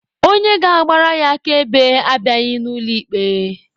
Onye ga-agbara ya akaebe abịaghị n'ụlọ ikpe.